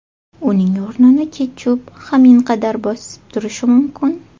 Uning o‘rnini ketchup haminqadar bosib turishi mumkin.